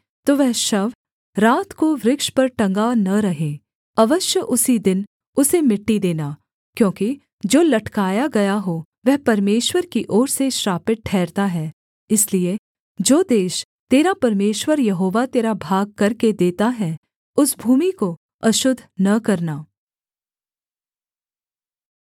तो वह शव रात को वृक्ष पर टँगा न रहे अवश्य उसी दिन उसे मिट्टी देना क्योंकि जो लटकाया गया हो वह परमेश्वर की ओर से श्रापित ठहरता है इसलिए जो देश तेरा परमेश्वर यहोवा तेरा भाग करके देता है उस भूमि को अशुद्ध न करना